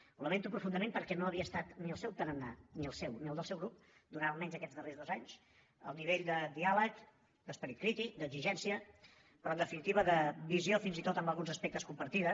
ho lamento profundament perquè no havia estat ni el seu tarannà ni el seu ni el del seu grup durant almenys aquests darrers dos anys el nivell de diàleg d’esperit crític d’exigència però en definitiva de visió fins i tot en alguns aspectes compartida